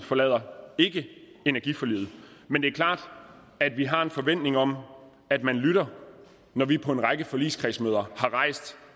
forlader ikke energiforliget men det er klart at vi har en forventning om at man lytter når vi på en række forligskredsmøder har rejst